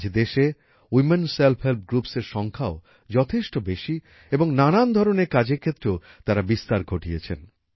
আজ দেশে women self help groupsএর সংখ্যাও যথেষ্ট বেশি এবং নানান ধরনের কাজের ক্ষেত্রেও তারা বিস্তার ঘটিয়েছেন